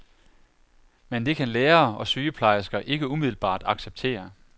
Men det kan lærere og sygeplejersker ikke umiddelbart acceptere.